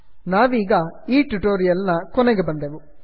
ಇಲ್ಲಿಗೆ ನಾವು ಈ ಟ್ಯುಟೋರಿಯಲ್ ನ ಕೊನೆಗೆ ಬಂದೆವು